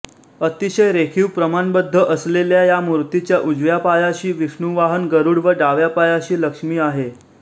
अतिशय रेखीव प्रमाणबद्ध असलेल्या या मूर्तीच्या उजव्या पायाशी विष्णुवाहन गरुड व डाव्या पायाशी लक्ष्मी आहे